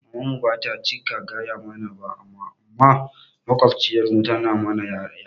Maman mu ba ta cika gaya mana ba amma maƙwabciyar mu tana ma yaranta